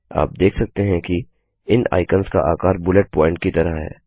आप देख सकते हैं कि इन आइकन्स का आकार बुलेट प्वॉइंट की तरह है